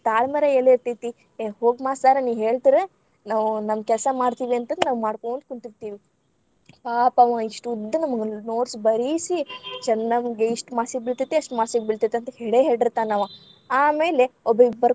ತಾಳ್ಮೆರ ಎಲ್ಲಿ ಇರ್ತೇತಿ, ಎ ಹೋಗ್ ಮಾಸ್ತರ ನೀ ಹೇಳ್ತೀರ ನಾವ್‌ ನಮ್ಮ ಕೆಲ್ಸಾ ಮಾಡ್ತೇವಿ ಅಂತ ಅಂದ ನಾವ್‌ ಮಾಡ್ಕೋಂತ್‌ ಕುಂತಿರ್ತೇವಿ ಪಾಪ ಅವಾ ಇಷ್ಟುದ್ದ ನಮಗ್‌ notes ಬರೀಸಿ, ಚೆನ್ನಂಗೆ ಇಷ್ಟ marks ಬೀಳತೇತಿ ಅಷ್ಟ marks ಗ್‌ ಬೀಳತೇತಿ ಅಂತ ಹೇಳೇ ಹೇಳಿರ್ತಾನವ. ಆಮೇಲೆ ಒಬ್ಬೆಕಿ.